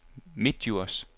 Midtdjurs